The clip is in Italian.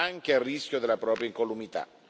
anche a rischio della propria incolumità.